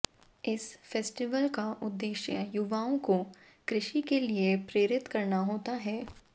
इस फेस्टिवल का उद्देश्य युवाओं को कृषि के लिए प्रेरित करना होता है